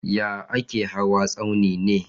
Yaya ake hawa tsauni ne?